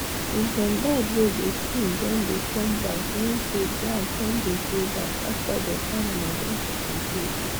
if dem bird wey dey sing don dey come backe mean say grass don dey grow back after dem animal don chop am tey tey